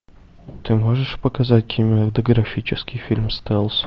ты можешь показать кинематографический фильм стелс